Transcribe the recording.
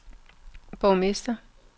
borgmester